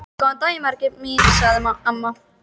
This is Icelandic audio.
Góðan daginn, Margrét mín sagði amma.